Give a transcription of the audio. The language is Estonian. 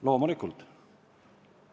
Loomulikult!